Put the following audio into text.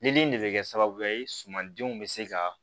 Nili in de bɛ kɛ sababuya ye sumandenw bɛ se ka